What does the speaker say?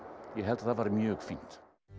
ég held að það væri mjög fínt